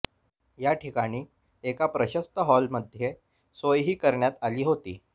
या ठिकाणी एका प्रशस्त हॉलमध्ये सोय ही करण्यात आली होती